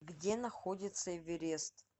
где находится эверест